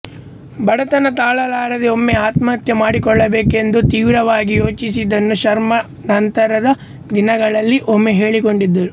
ಬಡತನ ತಾಳಲಾರದೆ ಒಮ್ಮೆ ಆತ್ಮಹತ್ಯೆ ಮಾಡಿಕೊಳ್ಳಬೇಕೆಂದು ತೀವ್ರವಾಗಿ ಯೋಚಿಸಿದ್ದನ್ನು ಶರ್ಮ ನಂತರದ ದಿನಗಳಲ್ಲಿ ಒಮ್ಮೆ ಹೇಳಿಕೊಂಡಿದ್ದರು